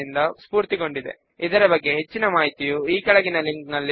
దీని గురించి క్రింది లింక్ లో మరింత సమాచారము అందుబాటులో ఉన్నది